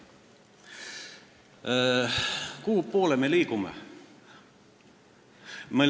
Kuhupoole me liigume?